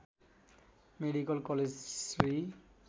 medical college Shri